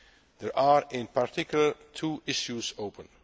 weeks. There are, in particular, two issues